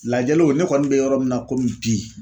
Lajɛliw ne kɔni bɛ yɔrɔ min na komi bi